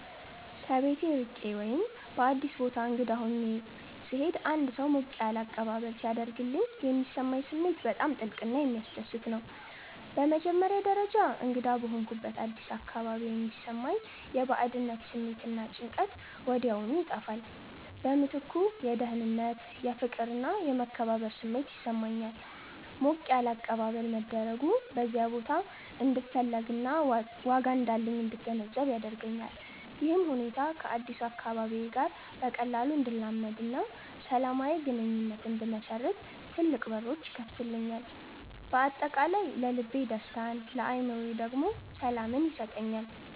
ከቤት ርቄ ወይም በአዲስ ቦታ እንግዳ ሆኜ ስሄድ አንድ ሰው ሞቅ ያለ አቀባበል ሲያደርግልኝ የሚሰማኝ ስሜት በጣም ጥልቅና የሚያስደስት ነው። በመጀመሪያ ደረጃ፣ እንግዳ በሆንኩበት አዲስ አካባቢ የሚሰማኝ የባዕድነት ስሜት እና ጭንቀት ወዲያውኑ ይጠፋል። በምትኩ የደህንነት፣ የፍቅር እና የመከበር ስሜት ይሰማኛል። ሞቅ ያለ አቀባበል መደረጉ በዚያ ቦታ እንድፈለግና ዋጋ እንዳለኝ እንድገነዘብ ያደርገኛል። ይህም ሁኔታ ከአዲሱ አካባቢ ጋር በቀላሉ እንድላመድና ሰላማዊ ግንኙነት እንድመሰርት ትልቅ በሮች ይከፍትልኛል። በአጠቃላይ ለልቤ ደስታን ለአእምሮዬ ደግሞ ሰላምን ይሰጠኛል።